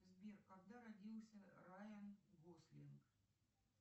сбер когда родился райан гослинг